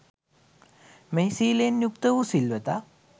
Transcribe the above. මෙහි සීලයෙන් යුක්ත වූ සිල්වතා